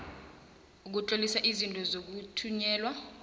ukutlolisa izinto zokuthunyelwa